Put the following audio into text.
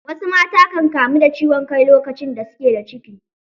Wasu mata kan kamu da ciwon kai lokacin da suke da ciki.